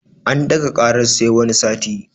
An ɗaga ƙarar sai wani sati